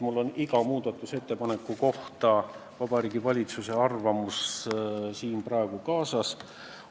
Mul on iga muudatusettepaneku kohta Vabariigi Valitsuse arvamus kaasas.